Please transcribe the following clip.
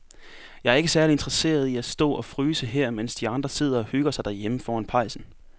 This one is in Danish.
Jeg er ikke særlig interesseret i at stå og fryse her, mens de andre sidder og hygger sig derhjemme foran pejsen.